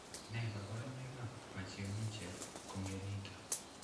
Nee kabarunoikab Pachyonychia congenita?